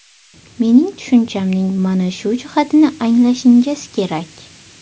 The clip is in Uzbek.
Mening tushunchamning mana shu jihatini anglashingiz kerak.